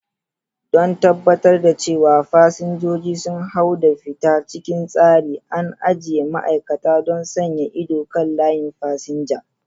Don tabbatar da cewa fasinjoji sun hau da fita cikin tsari, an ajiye ma'aikata don sanya ido kan layin fasinja.